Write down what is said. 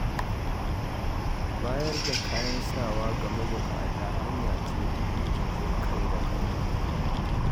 Bayar da kayan sawa ga mabuƙata hanya ce ta nuna jin ƙai da ƙauna.